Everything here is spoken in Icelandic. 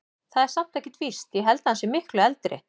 Það er samt ekkert víst. ég held að hann sé miklu eldri.